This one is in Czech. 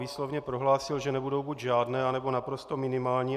Výslovně prohlásil, že nebudou buď žádné, anebo naprosto minimální.